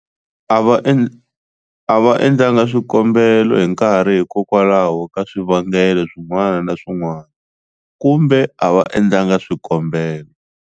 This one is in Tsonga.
A va endlanga swikombelo hi nkarhi hikokwalaho ka swivangelo swin'wana na swin'wana kumbe a va endlanga swikombelo.